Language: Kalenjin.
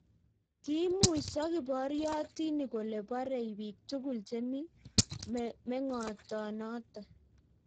Kiimuiso kiboriotinik kole borei bik tugul chemi mengotonoto